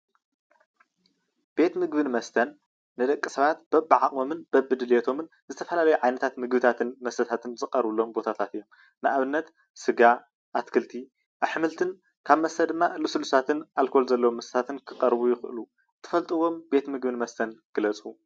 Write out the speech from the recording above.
ቤት ምግብን መስተን ንደቂ ሰባት በቢዓቅሞምን በቢድሌቶምን ዝተፈላለዩ ዓይነት ምግብታትን መስተታትንዝቀርብሎም ቦታታት እዮም፡፡ ኣብነት ስጋ፣ ኣትክልትን ኣሕምልትን ካብ መስተ ድማ ልስሉሳትን ኣልኮል ዘለዎም መስተታትን ክቀርቡ ይክእሉ እዮም፡፡ እትፈልጥዎም ቤት ምግብን መስተን ግለፁ?